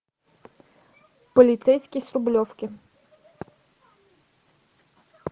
полицейский с рублевки